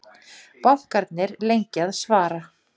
Bankarnir lengi að svara